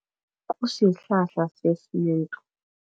Kusihlahla sesintu.